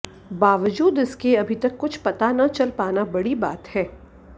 बावजूद इसके अभी तक कुछ पता न चल पाना बड़ी बात है